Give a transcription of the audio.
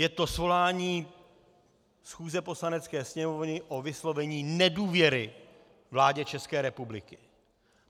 Je to svolání schůze Poslanecké sněmovny o vyslovení nedůvěry vládě České republiky.